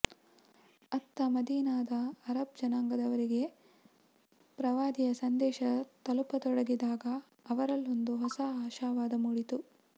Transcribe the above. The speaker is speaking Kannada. ಅತ್ತ ಮದೀನಾದ ಅರಬ್ ಜನಾಂಗದವರಿಗೆ ಪ್ರವಾದಿಯ ಸಂದೇಶ ತಲುಪತೊಡಗಿದಾಗ ಅವರಲ್ಲೊಂದು ಹೊಸ ಆಶಾವಾದ ಮೂಡಿತು